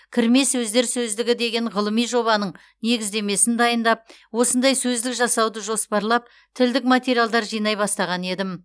кірме сөздер сөздігі деген ғылыми жобаның негіздемесін дайындап осындай сөздік жасауды жоспарлап тілдік материалдар жинай бастаған едім